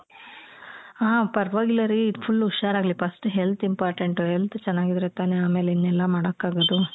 ಹ ಪರ್ವಾಗಿಲ್ಲ ರೀ ಈಗ್ full ಹುಷಾರಾಗ್ಲಿ first health important health ಚೆನ್ನಾಗಿದ್ರೆ ತಾನೇ ಅಮೇಲ್ ಇನ್ನೆಲ್ಲ ಮಾಡಕಾಗದು.